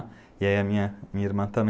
E aí a minha irmã também.